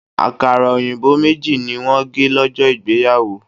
Àkàrà òyìnbó méjì ni wọ́n gé lọ́jọ́ ìgbéyàwó.